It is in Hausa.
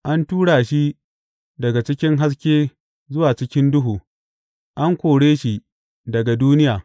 An tura shi daga cikin haske zuwa cikin duhu, an kore shi daga duniya.